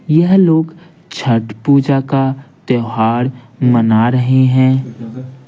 यह लोग छठ पूजा का त्यौहार मना रहे हैं।